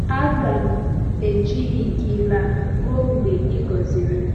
“Aga m ejighi gị laa ruo mgbe i gọziri m.”